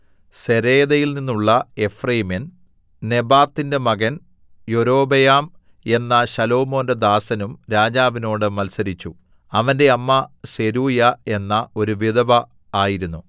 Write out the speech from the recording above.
സെരേദയിൽനിന്നുള്ള എഫ്രയീമ്യൻ നെബാത്തിന്റെ മകൻ യൊരോബെയാം എന്ന ശലോമോന്റെ ദാസനും രാജാവിനോട് മത്സരിച്ചു അവന്റെ അമ്മ സെരൂയാ എന്ന ഒരു വിധവ ആയിരുന്നു